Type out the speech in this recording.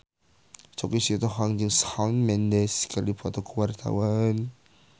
Choky Sitohang jeung Shawn Mendes keur dipoto ku wartawan